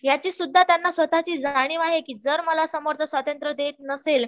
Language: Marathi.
याची सुद्दा त्यांना स्वतःची जाणीव आहे कि जर मला समोरचं स्वतंत्र देत नसेल